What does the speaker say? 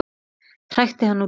hrækti hann út úr sér.